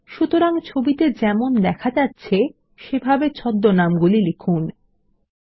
সুতরাং ছবিতে যেমন দেখা যাচ্ছে সেভাবে ছদ্মনাম গুলি লিখুন ltpausegt